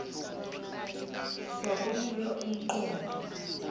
kwakunika um qondo